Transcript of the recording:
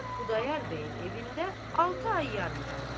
Zeynəb Xudayar bəyin evində altı ay yarım qaldı.